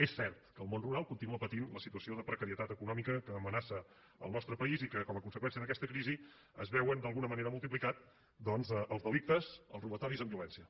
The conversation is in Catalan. és cert que el món rural continua patint la situació de precarietat econòmica que amenaça el nostre país i que com a conseqüència d’aquesta crisi es veuen d’alguna manera multiplicats doncs els delictes els robatoris amb violència